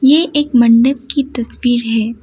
ये एक मंडप की तस्वीर है।